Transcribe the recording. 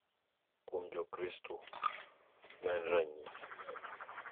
Kuom Jokristo, ma en ranyisi, .